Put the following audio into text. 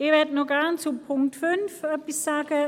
Gerne möchte ich noch etwas zum Punkt 5 sagen;